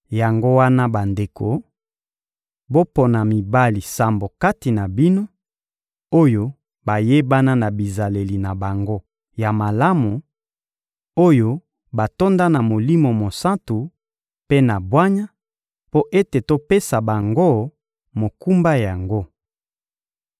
Yango wana bandeko, bopona mibali sambo kati na bino, oyo bayebana na bizaleli na bango ya malamu, oyo batonda na Molimo Mosantu mpe na bwanya mpo ete topesa bango mokumba yango.